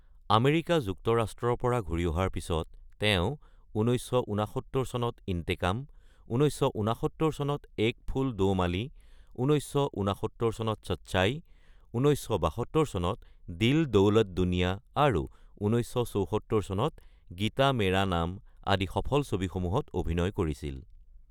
America যুক্তৰাষ্ট্ৰৰ পৰা ঘূৰি অহাৰ পিছত ১৯৬৯ চনত ইন্টেকাম ১৯৬৯ চনত এক ফূল দো মালি, ১৯৬৯ চনত চচ্চাই, ১৯৭২ চনত দিল দৌলত দুনিয়া আৰু ১৯৭৪ চনত গীতা মেৰা নাম আদি ছবিসমূহত অভিনয় কৰিছিল।